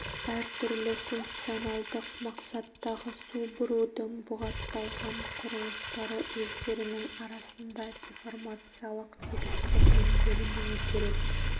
әртүрлі функционалдық мақсаттағы су бұрудың бұғатталған құрылыстары өздерінің арасында деформациялық тігістермен бөлінуі керек